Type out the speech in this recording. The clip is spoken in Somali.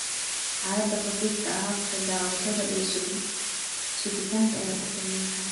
Xaaladaha khafiifka ah, habka daawashada iyo sugitaanka ayaa ku filnaan kara.